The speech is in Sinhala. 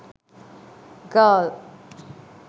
girl